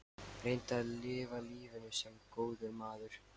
Reyndu að lifa lífinu- sem góður maður.